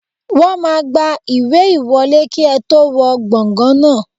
Wọ́n máa gba ìwé ìwọlé kí ẹ tó wọ gbàngàn náà